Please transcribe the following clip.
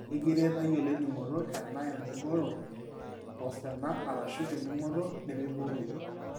ekiret tayiolo eningoto, ena engoro, osina arashu eningoto nemiboroyu